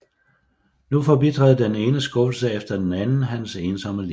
Nu forbitrede den ene skuffelse efter den anden hans ensomme liv